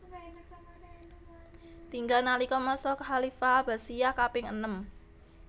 Tinggal nalika masa khalifah Abbasiyah kaping enem